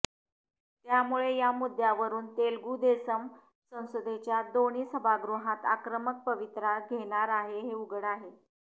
त्यामुळे या मुद्दय़ावरून तेलुगू देसम संसदेच्या दोन्ही सभागृहांत आक्रमक पवित्रा घेणार आहे हे उघड आहे